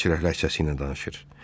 İsveç rəqəsi ilə danışır.